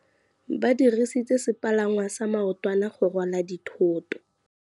Ba dirisitse sepalangwasa maotwana go rwala dithôtô.